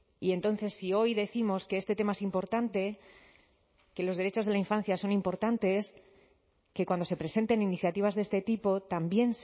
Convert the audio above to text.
y entonces si hoy décimos que este tema es importante que los derechos de la infancia son importantes que cuando se presenten iniciativas de este tipo también